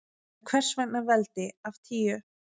En hvers vegna veldi af tíu?